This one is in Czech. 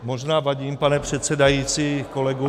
Možná vadím, pane předsedající, kolegům.